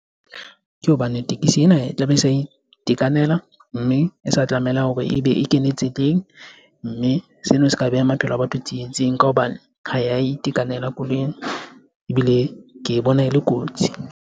Ke hobane tekesi ena e tlabe e sa itekanela mme e sa tlameha hore ebe e kene tseleng mme sena se ka beha maphelo a batho tsietsing ka hobane ha eya itekanela koloi ebile ke bona e le kotsi.